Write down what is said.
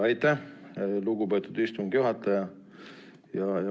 Aitäh, lugupeetud istungi juhataja!